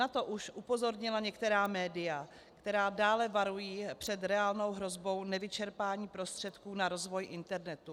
Na to už upozornila některá média, která dále varují před reálnou hrozbou nevyčerpání prostředků na rozvoj internetu.